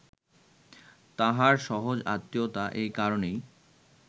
তাঁহার সহজ আত্মীয়তা এই কারণেই